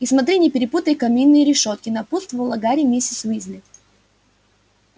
и смотри не перепутай каминные решётки напутствовала гарри миссис уизли